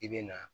I bɛ na